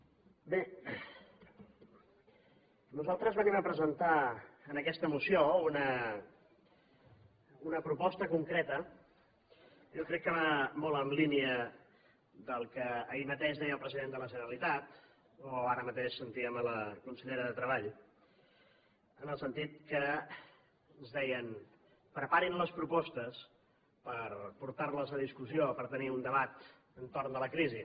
honorable consellera bé nosaltres venim a presentar amb aquesta moció una proposta concreta jo crec que va molt en línia del que ahir mateix deia el president de la generalitat o ara mateix sentíem la consellera de treball en el sentit que ens deien preparin les propostes per portar les a discussió o per tenir un debat entorn a la crisi